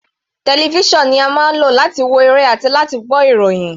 Television ni a máa ń lò láti wo eré àti láti gbọ́ ìròhìn.